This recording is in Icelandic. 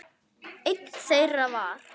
Einn þeirra var